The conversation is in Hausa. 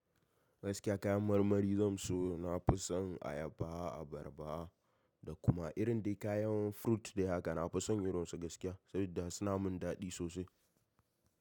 Gaskiya kayan marmari zan so. Na fi son ayaba, abarba da kuma irin dai kayan fruit de haka. Na fi son irin su gaskiya saboda suna mun daɗi sosai.